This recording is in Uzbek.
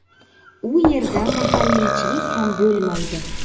U yerda mahalliychilik ham bo‘lmaydi.